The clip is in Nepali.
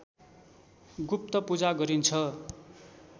गुप्तपूजा गरिन्छ